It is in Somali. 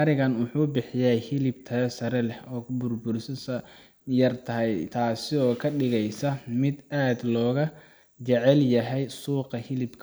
ariga wuxu bixiya hilib tayo sare leh oo kubur burisidisu yar tahay tasi oo kadigesa midh aad looga jecel yahay suuqa hilibka.